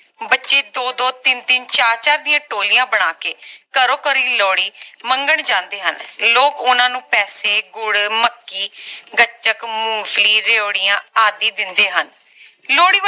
ਬੱਚੇ ਦੋ ਦੋ ਤਿੰਨ ਤਿੰਨ ਚਾਰ ਚਾਰ ਦੀਆਂ ਟੋਲੀਆਂ ਬਣਾ ਕੇ ਘਰੋਂ ਘਰਿ ਲੋਹੜੀ ਮੰਗਣ ਜਾਂਦੇ ਹਨ ਲੋਕ ਓਹਨਾ ਨੂੰ ਪੈਸੇ ਗੁੜ ਮੱਕੀ ਗੱਚਕ ਮੂੰਗਫਲੀ ਰੇਵੜੀਆਂ ਆਦਿ ਦਿੰਦੇ ਹਨ ਲੋਹੜੀ